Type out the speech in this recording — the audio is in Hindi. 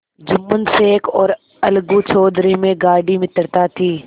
जुम्मन शेख और अलगू चौधरी में गाढ़ी मित्रता थी